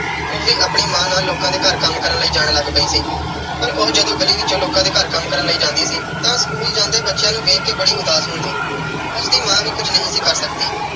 ਉਹ ਵੀ ਆਪਣੀ ਮਾਂ ਨਾਲ ਲੋਕਾਂ ਦੇ ਘਰ ਕੰਮ ਕਰਨ ਲਈ ਜਾਣ ਲੱਗ ਪਈ ਸੀ ਪਰ ਉਹ ਜਦੋਂ ਗਲੀ ਵਿੱਚੋਂ ਲੋਕਾਂ ਦੇ ਘਰ ਕੰਮ ਕਰਨ ਲਈ ਜਾਂਦੀ ਸੀ, ਤਾਂ school ਜਾਂਦੇ ਬੱਚਿਆਂ ਨੂੰ ਦੇਖ ਕੇ ਬੜੀ ਉਦਾਸ ਹੁੰਦੀ। ਉਸ ਦੀ ਮਾਂ ਵੀ ਕੁਝ ਨਹੀਂ ਸੀ ਕਰ ਸਕਦੀ